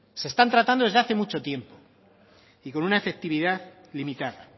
se están tratando desde hace mucho tiempo y con una efectividad limitada